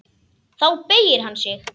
Þá beygir hann sig.